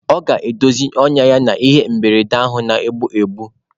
Ọ ga-edozi ọnyá ya n'ihe mberede ahụ na-egbu egbu.